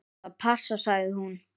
Það passar, sagði hún.